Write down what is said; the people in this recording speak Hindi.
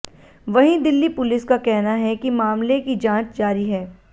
वहीं दिल्ली पुलिस का कहना है कि मामले की जांच जारी है